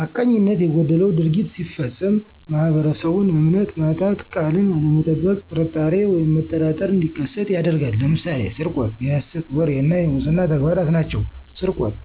ሐቀኝነት የጎደለው ድርጊት ሲፈፀም ማህበረሰቡን እምነት ማጣት፣ ቃልን አለመጠበቅ ጥርጣሬ ወይም መጠራጠር እንዲከሠት ያደርጋል። ለምሳሌ፦ ስርቆት፣ የሠት ወሬ እና የሙስና ተግባራት ናቸው። -ስርቆት፦